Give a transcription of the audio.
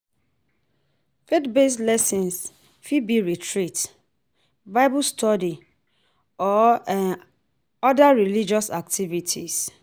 Faith based lessons fit be retreat, bible study or oda religious activities